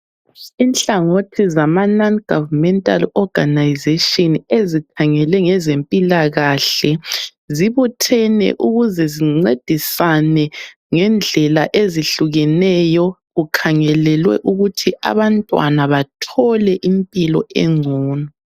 Inhlangothi zama Non Governmental Organisation ezikhangele ngezempilakahle zibuthene ukuze zincedisane ngendlela ezihlukeneyo kukhangelelwe ukuthi abantwana bathole impilo engcono.